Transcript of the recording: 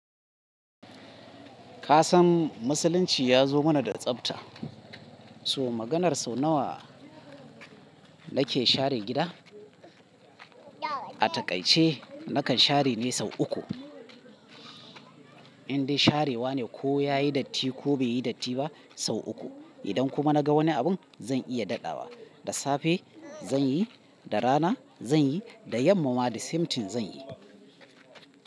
Ka san musulunci ya zo mana da tsabta, so maganar sau nawa nake share gida? A taƙaice nakan share ne sau uku. Indai sharewa ne ko yayi datti ko beyi datti ba sau uku. Idan kuma naga wani abun zan iya daɗawa. Da safe zan yi, da rana zan yi, da yamma ma disemtin zan yi.